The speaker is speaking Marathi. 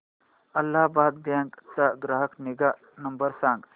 अलाहाबाद बँक चा ग्राहक निगा नंबर सांगा